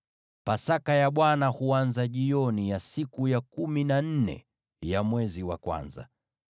Pasaka ya Bwana huanza jioni ya siku ya kumi na nne ya mwezi wa kwanza.